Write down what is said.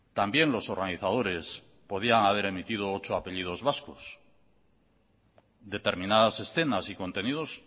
también los organizadores podían haber emitido ocho apellidos vascos determinadas escenas y contenidos